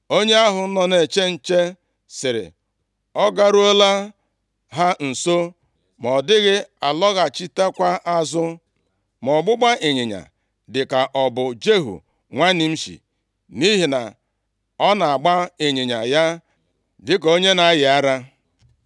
Onye ahụ nọ na-eche nche sịrị, “Ọ garuola ha nso, ma ọ dịghị alọghachitekwa azụ. Ma ọgbụgba ịnyịnya dịka ọ bụ Jehu nwa Nimshi, nʼihi na ọ na-agba ịnyịnya ya dịka onye na-ayị ara.”